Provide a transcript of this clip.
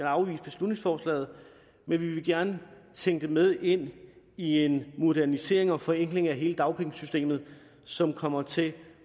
afvise beslutningsforslaget men vi vil gerne tænke det med ind i en modernisering og forenkling af hele dagpengesystemet som kommer til